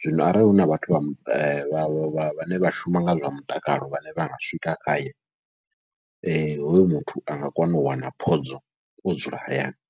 zwino arali huna vhathu vha vha vhane vha shuma nga zwa mutakalo vhane vha nga swika khaye, hoyu muthu anga kona u wana phodzo o dzula hayani.